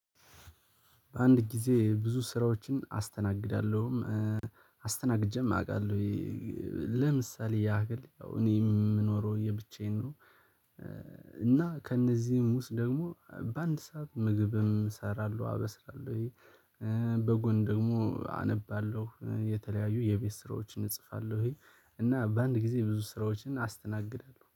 አንድ ጊዜ ብዙ ስራዎችን አስተናግዳለሁም አስተናግጄም አውቃለው። ለምሳሌ ያህል እኔ የምኖረው ለብቻዬ ነው እና ከእነዚህም ውስጥ ደግሞ በአንድ ሰዓት ምግብም እሰራለሁ አበስላለሁ፤ በጎን ደግሞ አነባለሁ የተለያዩ የቤት ስራዎችን እጽፋለሁ እና በአንድ ጊዜ ብዙ ስራዎችን አስተናግዳለሁ።